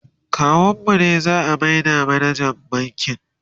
kawun mu ne za'a maida manajan bankin